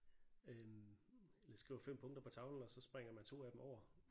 Øhm eller skriver 5 punkter på tavlen og så springer man 2 af dem over